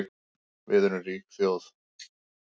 Við erum rík þjóð